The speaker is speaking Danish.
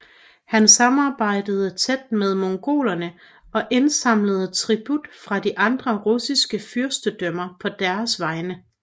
Han samarbejdede tæt med mongolerne og indsamlede tribut fra de andre russiske fyrstendømmer på deres vegne